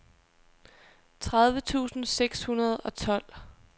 tredive tusind seks hundrede og tolv